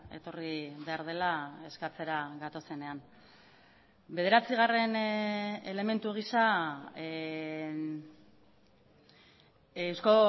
etorri behar dela eskatzera gatozenean bederatzigarren elementu gisa euzko